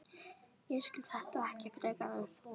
Ég skil þetta ekki frekar en þú.